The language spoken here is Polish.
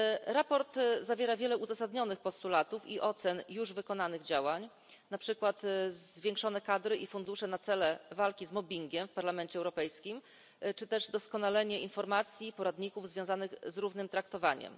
Sprawozdanie zawiera wiele uzasadnionych postulatów i ocen już wykonanych działań, na przykład zwiększone kadry i fundusze na cele walki z mobbingiem w Parlamencie Europejskim, czy też doskonalenie informacji, poradników związanych z równym traktowaniem.